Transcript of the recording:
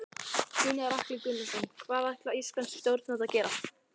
Gunnar Atli Gunnarsson: Hvað ætla íslensk stjórnvöld að gera?